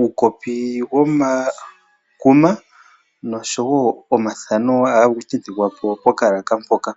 uukopi womakuma noshowo omathano ohaga tentekwaa po pokalaaka mpoka.